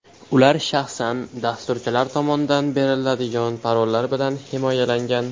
Ular shaxsan dasturchilar tomondan beriladigan parollar bilan himoyalangan.